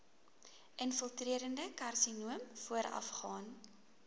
infiltrerende karsinoom voorafgaan